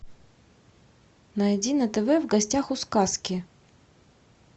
найди на тв в гостях у сказки